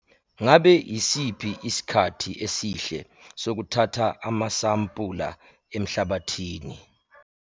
Ngabe yisiphi isikhathi esihle sokuthatha amasampula emhlabathi?